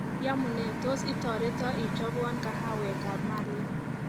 Yamunee tos itoreto ichobwo kahawekab malia